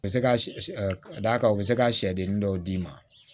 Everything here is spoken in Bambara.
U bɛ se ka d'a kan u bɛ se ka sɛdennin dɔw d'i ma